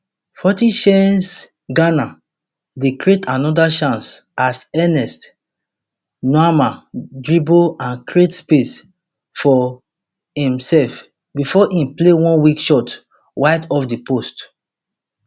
forty chaanceghana dey create anoda chance as ernest nuamah dribble and create space for imserf bifor im play one weak shot wide off di post